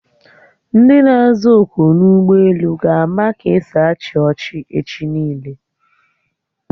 Ndi na-aza oku n'ụgbọelu ga-ama ka esi achị ọchị echi niile